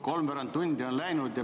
Kolmveerand tundi on läinud.